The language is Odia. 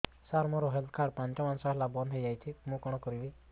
ସାର ମୋର ହେଲ୍ଥ କାର୍ଡ ପାଞ୍ଚ ମାସ ହେଲା ବଂଦ ହୋଇଛି ମୁଁ କଣ କରିବି